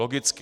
Logicky.